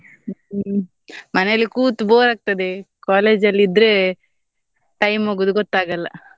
ಹ್ಮ್ ಹ್ಮ್ ಮನೆಯಲ್ಲಿ ಕೂತು bore ಆಗ್ತದೆ, college ಅಲ್ಲಿ ಇದ್ರೆ time ಹೋಗುದು ಗೊತ್ತಾಗಲ್ಲ.